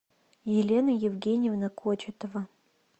елена евгеньевна кочетова